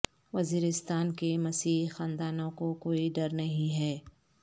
وزیرستان کے مسیحی خاندانوں کو کوئی ڈر نہیں ہے